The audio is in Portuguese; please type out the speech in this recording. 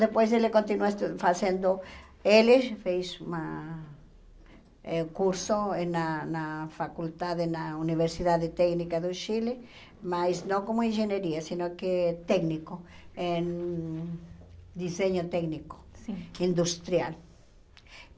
Depois ele continuou estu fazendo... Ele fez uma eh curso na na faculdade, na Universidade Técnica do Chile, mas não como engenharia, se não que técnico, em desenho técnico, sim industrial.